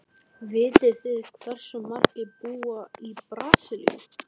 Vitið þið hversu margir búa í Brasilíu?